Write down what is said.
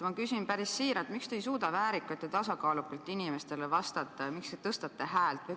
Ma küsin päris siiralt: miks te ei suuda väärikalt ja tasakaalukalt inimestele vastata ja miks te tõstate häält?